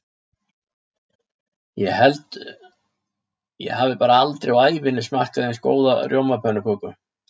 Ég held ég hafi bara aldrei á ævinni smakkað eins góða rjómapönnuköku.